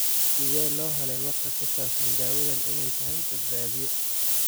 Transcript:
Sidee loo helay warka ku saabsan dawadan inay tahay badbaadiye?